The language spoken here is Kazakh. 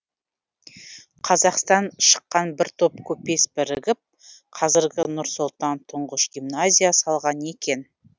қазақстан шыққан бір топ көпес бірігіп қазіргі нұр сұлтанда тұңғыш гимназия салған екен